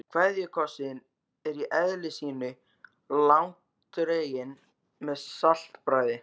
KVEÐJUKOSSINN er í eðli sínu langdreginn með saltbragði.